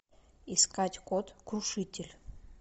искать код крушитель